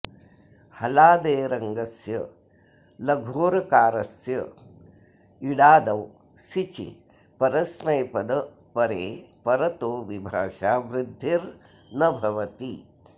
हलादेरङ्गस्य लघोरकारस्य इडादौ सिचि परस्मैपदपरे परतो विभाषा वृद्धिर् न भवति